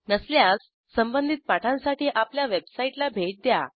नसल्यास संबधित पाठांसाठी आपल्या वेबसाईटला भेट द्या